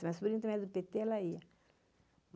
Minha sobrinha também é do pêtê, ela ia.